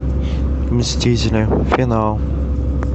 мстители финал